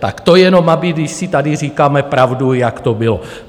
Tak to jenom, aby když si tady říkáme pravdu, jak to bylo.